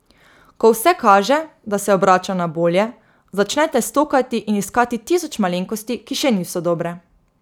Ko vse kaže, da se obrača na bolje, začnete stokati in iskati tisoč malenkosti, ki še niso dobre.